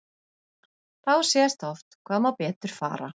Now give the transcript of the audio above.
Þá sést oft hvað má betur fara.